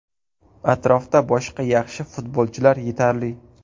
Atrofda boshqa yaxshi futbolchilar yetarli.